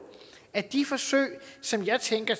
at de forsøg som jeg tænker